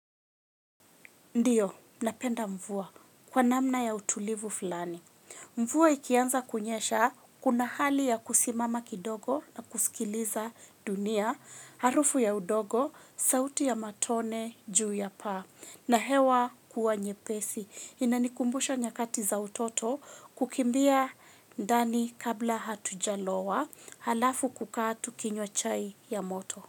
Ndiyo, napenda mvua kwa namna ya utulivu fulani. Mvua ikianza kunyesha, kuna hali ya kusimama kidogo na kusikiliza dunia, harufu ya udogo, sauti ya matone, juu ya paa, na hewa kuwa nyepesi. Inanikumbusha nyakati za utoto kukimbia ndani kabla hatujalowa, halafu kukaa tukinywa chai ya moto.